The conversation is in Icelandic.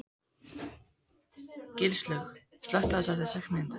Gilslaug, slökktu á þessu eftir sex mínútur.